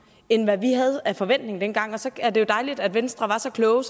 end hvad vi havde af forventning dengang og så er det jo dejligt at venstre var så kloge